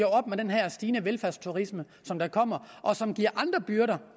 op med den her stigende velfærdsturisme der kommer og som giver andre byrder